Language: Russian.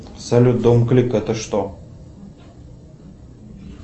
салют дом клик это что